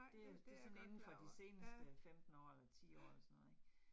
Det er det sådan indenfor de seneste 15 år eller 10 år eller sådan noget ik